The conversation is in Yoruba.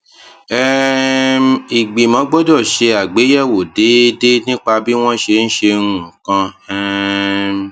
um ìgbìmọ gbọdọ ṣe àgbéyẹwò déédéé nípa bí wọn ṣe ń ṣe nǹkan um